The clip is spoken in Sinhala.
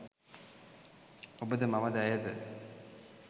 ඔබද මමද ඇයද